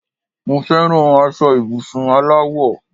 Mo feran aṣọ ibùsùn aláwọ̀